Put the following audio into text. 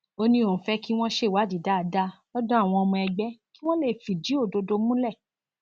ó ní òun fẹ kí wọn ṣèwádìí dáadáa lọdọ àwọn ọmọ ẹgbẹ kí wọn lè fìdí òdodo múlẹ